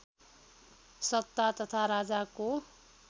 सत्ता तथा राजाको